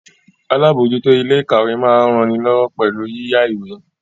Alábòójútó ilé ìkàwé máa ń ranilọ́wọ́ pẹ̀lú yíyá ìwé